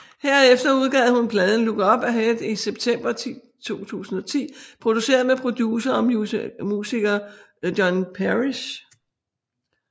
Herefter udgav hun pladen Look Up Ahead i september 2010 produceret med producer og musiker John Parish